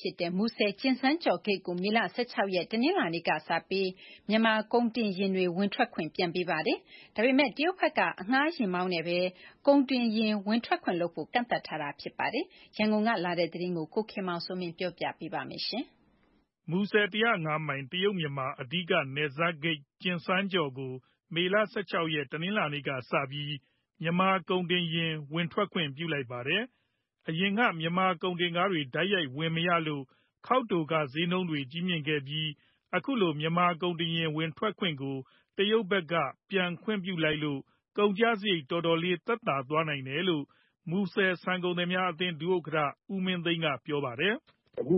ဖြစ်တဲ့ မူဆယ် -ကျင်စန်းကျော့ဂိတ်ကို မေလ ၁၆ ရက် တနင်္လာနေ့ကစပြီး မြန်မာကုန်တင်ယာဉ်တွေ ဝင်ထွက်ခွင့် ပြန်ပေးလိုက်ပါတယ်။ ဒါပေမဲ့ တရုတ်ဘက်က အငှားယာဉ်မောင်းနဲ့သာ ကုန်တင်ယာဉ်ဝင်ထွက်ခွင့်လုပ်ဖို့ ကန့်သတ်ထားတာ ဖြစ်ပါတယ်။ ဒီအကြောင်း ရန်ကုန်ကလာတဲ့သတင်း ကိုခင်မောင်စိုးမင်း က ပြောပြမှာပါ။ မူဆယ် ၁၀၅ မိုင် တရုတ် - မြန်မာ အဓိကနယ်စပ်ဂိတ် ကျင်စန်းကျော့ကို မေလ ၁၆ ရက်၊ တနင်္လာနေ့ကစပြီး မြန်မာကုန်တင်ယာဉ်ဝင်ထွက်ခွင့် ပြုလိုက်ပါတယ်။ အရင်က မြန်မာကုန်တင်ယာဉ်တွေ တိုက်ရိုက်ဝင်မရလို့ ခေါက်တိုခတွေ ဈေးနှုန်းမြင့်ခဲ့ပြီး အခုလို မြန်မာကုန်တင်ယာဉ်ဝင်ထွက်ခွင့်ကို တရုတ်ဘက်က ပြန်ခွင့်ပြုလိုက်လို့ ကုန်ကျစရိတ် တော်တော်လေးသက်သာသွားနိုင်တယ်လို့ မူဆယ်ဆန်ကုန်သည်အသင်း ဒုဥက္ကဋ္ဌ ဦးမင်းသိန်းက ပြောပါတယ်။ "အခု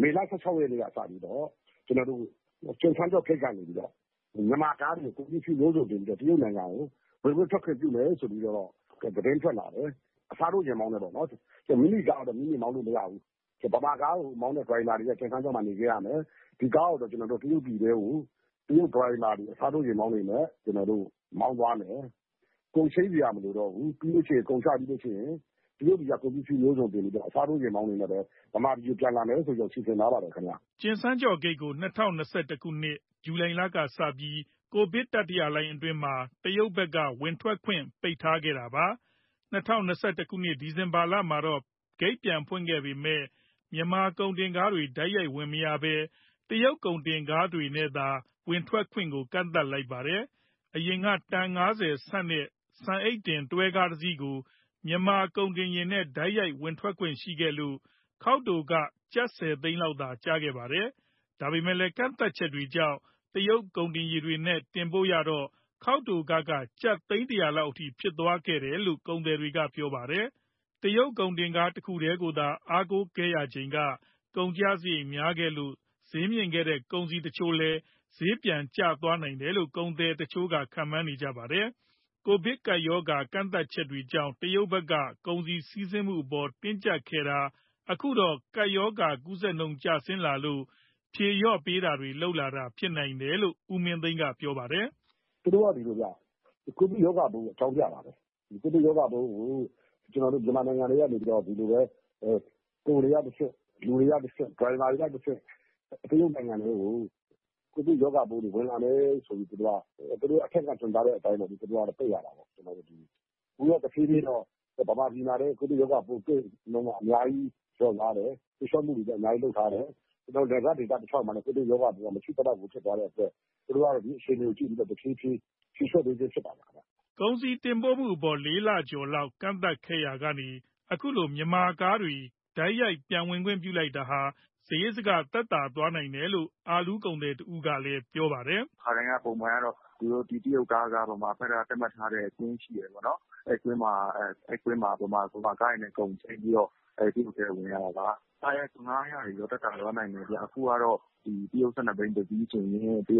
မေလ ၁၆ ရက်နေ့ကစပြီးတော့ ကျင်စန်းကျော့ဂိတ်ကနေပြီးတော့ မြန်မာကားတွေ ကုန်ပစ္စည်းမျိုးစုံတင်ပြီးတော့ တရုတ်နိုင်ငံကို ဝင်ခွင့်ထွက်ခွင့်ပြုတယ် ဆိုပြီးတော့ သတင်းထွက်လာတယ်။ အစားထိုး ယာဉ်မောင်းနဲ့ပဲပေါ့နော်။ မိမိကားတော့ မိမိမောင်းလို့ မရဘူး။ ဗမာကားတွေမောင်းတဲ့ ဒရိုင်ဘာတွေက ကျင်စန်းကျော့မှာ နေခဲ့ရမယ်။ ဒီကားကို တရုတ်ပြည်ထဲကို တရုတ်ဒရိုင်ဘာတွေ အစားထိုးယာဉ်မောင်းတွေနဲ့ မောင်းသွားမယ်။ ကုန်ချိန်းစရာ မလိုတော့ဘူး။ ကုန်ချပြီးလို့ရှိရင် တရုတ်ပြည်က ကုန်ပစ္စည်းမျိုးစုံတင်ပြီးတော့ အစားထိုးယာဉ်မောင်းတွေနဲ့ပဲ ဗမာပြည်ကိုပြန်လာမယ် ဆိုပြီးတော့ စီစဉ်ထားပါတယ်ခင်ဗျ။" ကျင်စန်းကျော့ဂိတ်ကို ၂၀၂၁ ခုနှစ်၊ ဇူလိုင်လကစပြီး ကိုဗစ်တတိယလှိုင်းအတွင်းမှာ တရုတ်ဘက်က ဝင်ထွက်ခွင့် ပိတ်ထားခဲ့တာပါ။ ၂၀၂၁ ခုနှစ်၊ ဒီဇင်ဘာမှာတော့ ဂိတ်ပြန်ဖွင့်ခဲ့ပေမယ့် မြန်မာကုန်တင်ကားတွေ တိုက်ရိုက်ဝင်မရဘဲ တရုတ်ကုန်တင်ကားတွေနဲ့သာ ဝင်ထွက်ခွင့်ကို ကန့်သတ်လိုက်ပါတယ်။ အရင်က တန် ၅၀ ဆံ့တဲ့ ဆန်အိတ်တင် တွဲကားတစီးကို မြန်မာကုန်တင်ယာဉ်နဲ့ တိုက်ရိုက်ဝင်ထွက်ခွင့်ရှိခဲ့လို့ ခေါက်တိုခ ကျပ် ၁၀ သိန်းလောက်သာ ကျခဲ့တာပါ။ ဒါပေမဲ့ ကန့်သတ်ချက်တွေကြောင့် တရုတ်ကုန်တင်ကားတွေနဲ့ တင်ပို့ရတော့ ခေါက်တိုခက ကျပ် သိန်း ၁၀၀ လောက်ထိ ဖြစ်သွားတယ်လို့ ကုန်သည်တွေက ပြောပါတယ်။ တရုတ်ကုန်တင်ကား တခုတည်းကိုသာ အားကိုးခဲ့ရချိန်က ကုန်ကျစရိတ် များခဲ့လို့ ဈေးမြင့်ခဲ့တဲ့ ကုန်စည်တချို့လည်း ဈေးကျသွားနိုင်တယ်လို့ ကုန်သည်တချို့က ခန့်မှန်းနေကြပါတယ်။ ကိုဗစ်ကပ်ရောဂါကန့်သတ်ချက်တွေကြောင့် တရုတ်ဘက်က ကုန်စည်စီးဆင်းမှုအပေါ် တင်းကြပ်ခဲ့တာ အခုတော့ ကပ်ရောဂါကူးစက်နှုန်းကျဆင်းလာလို့ ဖြေလျှော့တာတွေလုပ်လာတာ ဖြစ်နိုင်တယ်လို့ ဦးမင်းသိန်းက ပြောပါတယ်။ "သူတို့က ဒီလိုဗျ။ ကိုဗစ်ရောဂါပိုးကို အကြောင်းပြတာပေါ့။ ဒီကိုဗစ်ရောဂါပိုးကို ကျနော်တို့ မြန်မာနိုင်ငံထဲကနေပြီးတော့ ကုန်တွေကတဆင့်၊ လူတွေကတဆင့်၊ ဒရိုင်ဘာတွေကတဆင့် သူတို့နိုင်ငံထဲကို ကိုဗစ်ရောဂါပိုးတွေ ဝင်လာမယ်ဆိုပြီး သူတို့က အထက်ကညွှန်ကြားတဲ့အတိုင်း ပိတ်ရတာပေါ့။ အခုတဖြေးဖြေးတော့ ဗမာပြည်မှာလည်း ကိုဗစ်ရောဂါပိုး သိပ်အများကြီး လျော့သွားတယ်။ ဖြေလျှော့မှုတွေလည်း အများကြီးလုပ်ထားတယ်။ နယ်စပ်ဒေသတလျှောက်မှာလည်း ကိုဗစ်ရောဂါပိုးက မရှိသလောက်ဖြစ်သွားတဲ့အတွက် သူတို့ကတော့ ဒီအခြေအနေကို ကြည့်ပြီးတော့ တဖြေးဖြေး ဖြေလျှော့ပေးခြင်းဖြစ်ပါတယ်။" ကုန်စည်တင်ပို့မှုအပေါ် ၄ လကျော်လောက် ကန့်သတ်ခဲ့တာကနေ အခုလို မြန်မာကားတွေ တိုက်ရိုက်ပြန်ဝင်ခွင့်ပြုလိုက်တာဟာ စရိတ်စက သက်သာသွားနိုင်တယ်လို့ အာလူးကုန်သည်တဦးကလည်း ပြောပါတယ်။ "ခါတိုင်းပုံမှန်ကတော့ တရုတ်ကားက ဗမာဘက်က သတ်မှတ်ထားတဲ့ ကွင်းရှိတယ်ပေါ့နော်။ အဲဒီကွင်းမှာ ဗမာကားတွေနဲ့ ကုန်ချိန်းပြီးတော့ တရုတ်ပြည်ထဲကို ဝင်ရတာပါ။ အခုကတော့ ကားငှားရမ်းခတွေတော့ သက်သာသွားနိုင်တယ်ဗျ။ တရုတ် ၁၂ ဘီး တစီးဆိုရင် ပစ္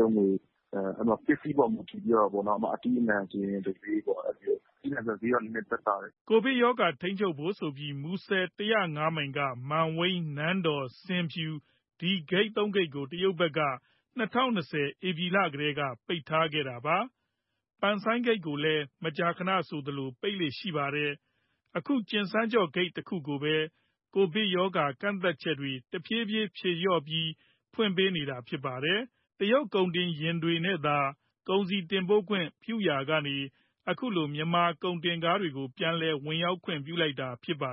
စည်းပေါ်မူတည်ပြီးတော့ ဥပမာ - အသီးအနှံဆိုရင် တဈေးပေါ့။ အသီးအနှံဆိုရင်တော့ ဈေးကသက်သာတယ်။" ကိုဗစ်ရောဂါ ထိန်းချုပ်ဖို့ဆိုပြီး မူဆယ် ၁၀၅ မိုင်က မန်ဝိန်း၊ နန်းတော်၊ ဆင်ဖြူ ဒီဂိတ် ၃ ခုကို တရုတ်ဘက်က ၂၀၂၀ ဧပြီလကတည်းက ပိတ်ထားတာပါ။ ပန်ဆိုင်းဂိတ်ကိုလည်း မကြာခဏဆိုသလို ပိတ်လေ့ရှိပါတယ်။ အခု ကျင်စန်းကျော့ဂိတ်တခုကိုပဲ ကိုဗစ်ရောဂါ ကန့်သတ်ချက်တွေ တဖြေးဖြေးဖြေလျှော့ပြီး ဖွင့်ပေးနေတာပါ။ တရုတ်ကုန်တင်ယာဉ်နဲ့သာ ကုန်စည်တင်ပို့ခွင့် ပြုခဲ့ရာကနေ အခုလို မြန်မာကုန်တင်ကားတွေကို ပြန်လည်ဝင်ရောက်ခွင့် ပြုလိုက်တာပါ